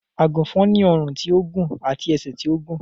Àgùnfòn ni ọrùn tí ó gùn àti ẹsẹ̀ tí ó gùn